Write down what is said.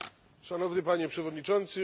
Szanowny Panie Przewodniczący!